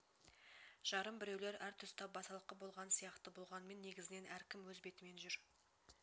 жарым біреулер әр тұста басалқы болған сияқты болғанмен негізінен әркім өз бетімен жүр